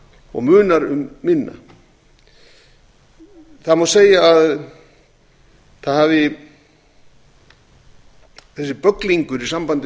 og munar um minna það má segja að þessi bögglingur í sambandi